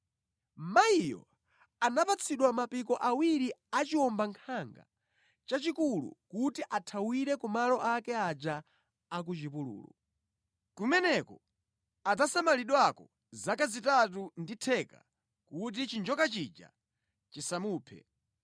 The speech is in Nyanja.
Mayiyo anapatsidwa mapiko awiri a chiwombankhanga chachikulu kuti athawire ku malo ake aja a ku chipululu. Kumeneko adzasamalidwako zaka zitatu ndi theka kuti chinjoka chija chisamupeze.